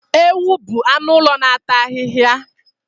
Ewu bụ anụ ụlọ na-ata ahịhịa